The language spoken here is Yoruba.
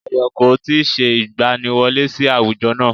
Ayọ̀ kò tí ì se ìgbaniwọlé sí àwùjọ náà